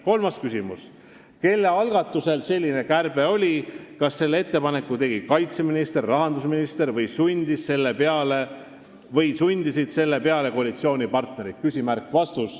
Kolmas küsimus: "Kelle algatus selline kärbe oli, kas selle ettepaneku tegi kaitseminister, rahandusminister või sundisid selle peale koalitsioonipartnerid?